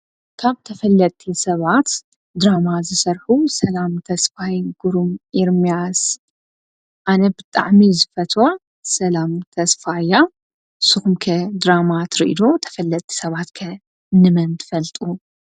ካብ ተፈለቲ ሰባት ድራማ ዘሠርሁ ሰላም ተስፋይ ግሩም ኢርምያስ ኣነ ብጥዕሚ ዘፈትዋ ሰላም ተስፋያ ስኅምከ ድራማ ትርኢዶ ? ተፈለቲ ሰባትከ ንመን ትፈልጡ?